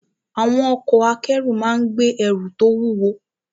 Àwọn ọkọ̀ akẹ́rù máa ń gbé ẹrù tó wúwo.